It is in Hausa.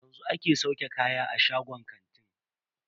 Yanzu ake sauke kaya a shagon kantin.